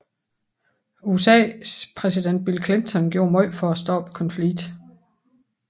USAs præsident Bill Clinton gjorde meget for at stoppe konflikten